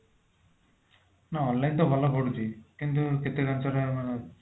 ନା online ତ ଭଲ ପଡୁଛି କିନ୍ତୁ କେତେ ଜିନିଷଟା ମାନେ